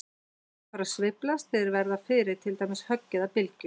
Hlutir fara að sveiflast þegar þeir verða fyrir til dæmis höggi eða bylgju.